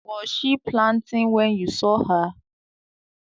Was she planting when you saw her?